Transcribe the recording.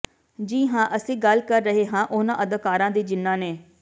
ਜੀ ਹਾਂ ਅਸੀਂ ਗੱਲ ਕਰ ਰਹੇ ਹਾਂ ਉਹਨਾਂ ਅਦਾਕਾਰਾਂ ਦੀ ਜਿਨ੍ਹਾਂ ਨੇ